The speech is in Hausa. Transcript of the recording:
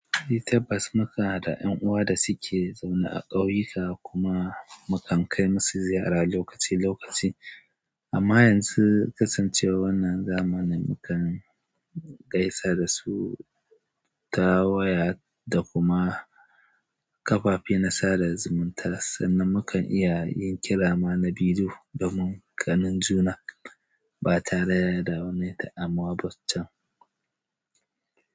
Eh tab bas mukan ha da 'yan uwa da suke zaune a ƙauyuka kuma mukan kai musu ziyara lokaci-lokaci. Amma yanzu, kasancewar wannan zamanin, mukan gaisa da su ta waya da kuma kafafe na sada da zumunta sannan mukan iya yin ƙirama na bidiyo domin kanin juna ba tare da raunaye ta amwa ba can.